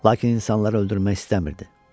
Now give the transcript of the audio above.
Lakin insanları öldürmək istəmirdi.